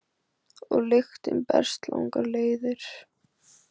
Og lyktin berst langar leiðir